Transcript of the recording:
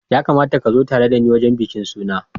Ya kamata ka zo tare da ni wurin bikin suna.